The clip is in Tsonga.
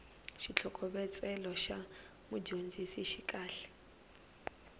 xitlhokovetselo xa mudyondzisi xi kahle